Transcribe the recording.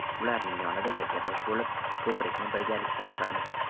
Ularning yonida yelkadosh bo‘lib, ko‘prikni birgalikda quramiz”.